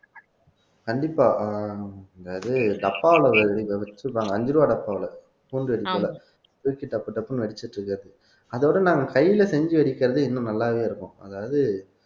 கண்டிப்பா அஞ்சு ரூபா டப்பாவுல பூண்டு இருக்குல்ல பிரிச்சு டப்பு டப்புன்னு அடிச்சிட்டு இருக்கிறது அதோட நாங்க கையில செஞ்சு வெடிக்கிறது இன்னும் நல்லாவே இருக்கும் அதாவது